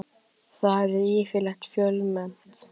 Þar er yfirleitt fjölmennt.